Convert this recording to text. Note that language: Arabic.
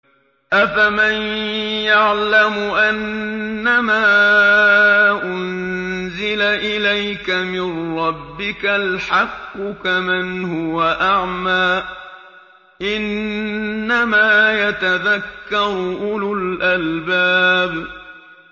۞ أَفَمَن يَعْلَمُ أَنَّمَا أُنزِلَ إِلَيْكَ مِن رَّبِّكَ الْحَقُّ كَمَنْ هُوَ أَعْمَىٰ ۚ إِنَّمَا يَتَذَكَّرُ أُولُو الْأَلْبَابِ